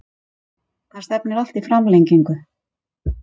Það stefnir allt í framlengingu